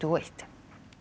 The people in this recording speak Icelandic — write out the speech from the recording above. og eitt